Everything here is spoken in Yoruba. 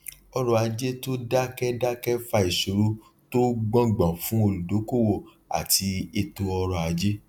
ọrọ ajé tó dákẹdákẹ fa ìṣòro tó gbọngbọn fún olùdókòwò àti eto ọrọ ajé